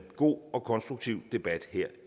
god og konstruktiv debat her